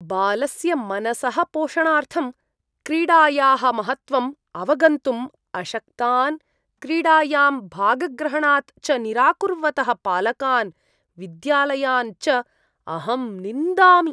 बालस्य मनसः पोषणार्थं क्रीडायाः महत्त्वम् अवगन्तुम् अशक्तान्, क्रीडायां भागग्रहणात् च निराकुर्वतः पालकान्, विद्यालयान् च अहं निन्दामि।